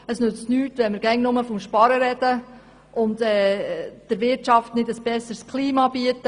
Es nützt nichts, wenn wir immer nur vom Sparen reden und der Wirtschaft nicht ein besseres Klima bieten.